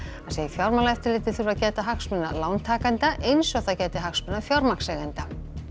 segir Fjármálaeftirlitið þurfa að gæta hagsmuna lántakenda eins og það gæti hagsmuna fjármagnseigenda